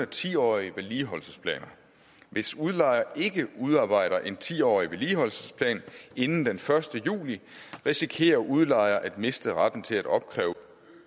ti årige vedligeholdelsesplaner hvis udlejer ikke udarbejder en ti årig vedligeholdelsesplan inden den første juli risikerer udlejer at miste retten til at opkræve